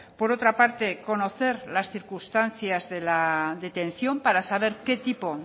por otra parte conocer las circunstancias de la detención para saber qué tipo